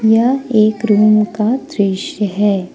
यह एक रूम का दृश्य है।